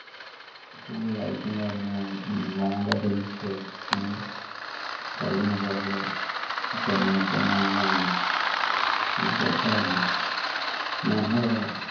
full light കാര്യങ്ങളും വേണ്ട drinks ഉം കള്ളിന് കള്ള് പെണ്ണിന് പെണ്ണ് അങ്ങനെയായിരുന്നു full set ആയിരുന്നു ഞങ്ങളെ